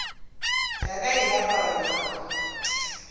ya ka e apara nyamo